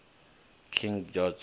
king george